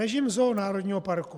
Režim zón národního parku.